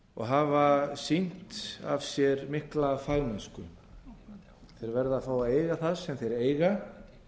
og hafa sýnt af sér mikla fagmennsku þeir verða að fá að eiga það sem þeir eiga